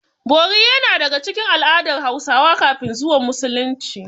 Bori yana daga cikin al'adar Hausawa kafin zuwan Musulunci.